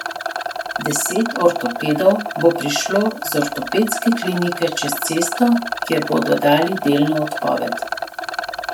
Deset ortopedov bo prišlo z ortopedske klinike čez cesto, kjer bodo dali delno odpoved.